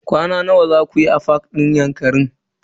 Kwana nawa zaku yi a fak din Yankari?